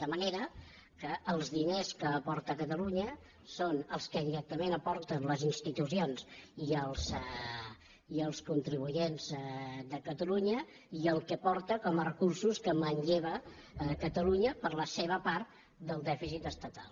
de manera que els diners que aporta catalunya són els que directament aporten les institucions i els contribuents de catalunya i el que aporta com a recursos que manlleva catalunya per la seva part del dèficit estatal